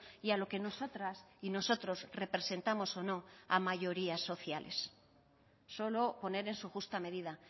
y a lo que nosotras y nosotros representamos o no a mayoría sociales solo poner en su justa medida